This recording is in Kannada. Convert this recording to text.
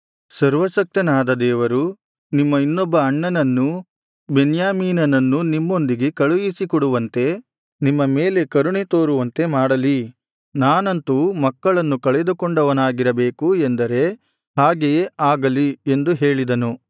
ಸರ್ವಶಕ್ತನಾದ ದೇವರು ನಿಮ್ಮ ಇನ್ನೊಬ್ಬ ಅಣ್ಣನನ್ನೂ ಬೆನ್ಯಾಮೀನನನ್ನೂ ನಿಮ್ಮೊಂದಿಗೆ ಕಳುಹಿಸಿಕೊಡುವಂತೆ ನಿಮ್ಮ ಮೇಲೆ ಕರುಣೆ ತೋರುವಂತೆ ಮಾಡಲಿ ನಾನಂತೂ ಮಕ್ಕಳನ್ನು ಕಳೆದುಕೊಂಡವನಾಗಿರಬೇಕು ಎಂದರೆ ಹಾಗೆಯೇ ಆಗಲಿ ಎಂದು ಹೇಳಿದನು